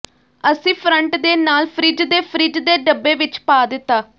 ਅਸੀਂ ਫਰੰਟ ਦੇ ਨਾਲ ਫਰਿੱਜ ਦੇ ਫਰਿੱਜ ਦੇ ਡੱਬੇ ਵਿਚ ਪਾ ਦਿੱਤਾ